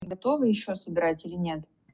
готовы ещё собирать или нет